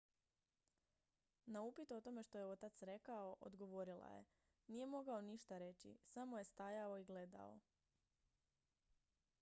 "na upit o tome što je otac rekao odgovorila je: "nije mogao ništa reći. samo je stajao i gledao"".